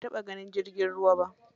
Ban taɓa ganin jirgin ruwa ba.